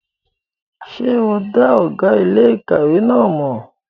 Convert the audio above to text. Ṣé o dá ọ̀gá iléèkàwé náà mọ̀?